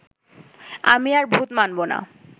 আমি আর ভূত মানবো না